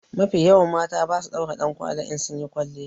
Mafi yawan mata ba su daura dankwali in sunyi kwalliya.